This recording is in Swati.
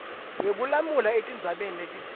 wekulamula etindzabeni letitsite